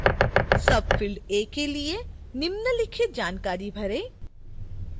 field a के लिए निम्नलिखित जानकारी भरें